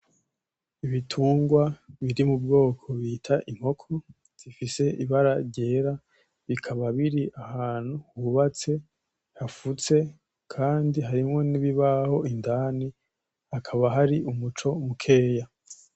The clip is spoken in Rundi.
Ibitugwa biri mu bwoko bita inkoko, zifise ibara ryera, bikaba biri ahantu hubatse; hafutse kandi harimwo n'ibibaho indani, hakaba hari umuco mukeya.